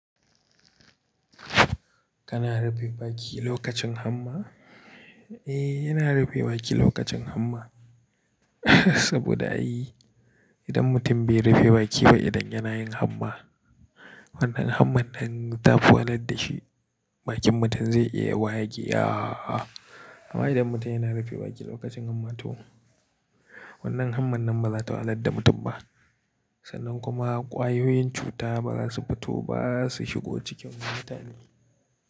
Kana rufe baki lokacin hamma? Eh, ina rufe baki lokacin hamma. Saboda ai idan mutum bai rufe baki ba idan yana yin hamma, wannan hamman nan ta fi wahalar da shi, bakin mutum zai iya wageya. Amma idan mutum yana rufe baki lokacin hamma to wannan hamman nan ba za ta wahalar da mutum ba. Sannan kuma ƙwayoyin cuta ba za su fito ba, su shigo cikin mutane.